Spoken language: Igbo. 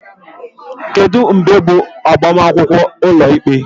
Kedu mgbe bụ agbamakwụkwọ ụlọikpe?